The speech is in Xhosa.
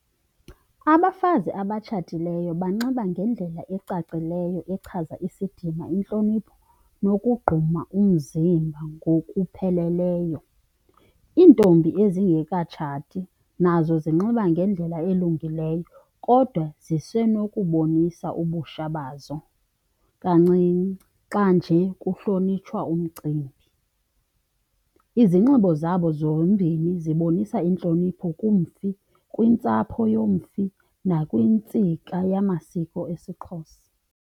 Abafazi abatshatileyo banxiba ngendlela ecacileyo echaza isidima, intlonipho nokugquma umzimba ngokupheleleyo. Iintombi ezingekatshati nazo zinxiba ngendlela elungileyo kodwa zisenokubonisa ubutsha bazo kancinci xa nje kuhlonitshwa umcimbi. Izinxibo zabo zombini zibonisa intlonipho kumfi, kwintsapho yomfi, nakwintsika yamasiko esiXhosa.